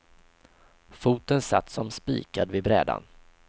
Foten satt som spikad vid brädan.